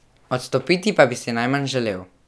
Odstopiti pa bi si najmanj želel.